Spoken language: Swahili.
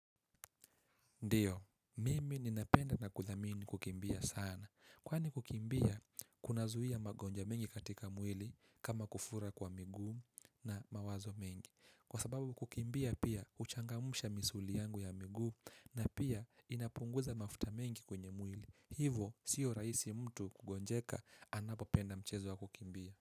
Ndiyo, mimi ninapenda na kuthamini kukimbia sana. Kwani kukimbia, kunazuia magonjwa mengi katika mwili kama kufura kwa miguu na mawazo mengi. Kwa sababu kukimbia pia huchangamsha misuli yangu ya miguu na pia inapunguza mafuta mengi kwenye mwili. Hivo, sio rahisi mtu kugonjeka anapopenda mchezo wa kukimbia.